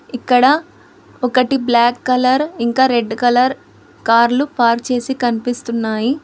ఇక్కడ ఒకటి black colour ఇంకా రెడ్ కలర్ కార్లు పార్క్ చేసి కనిపిస్తున్నాయి.